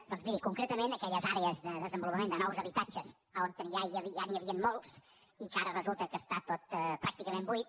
doncs miri concretament aquelles àrees de desenvolupament de nous habitatges on ja n’hi havien molts i que ara resulta que està tot pràcticament buit